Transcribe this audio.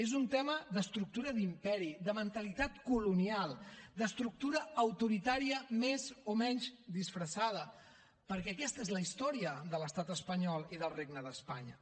és un tema d’estructura d’imperi de mentalitat colonial d’estructura autoritària més o menys disfressada perquè aquesta és la història de l’estat espanyol i del regne d’espanya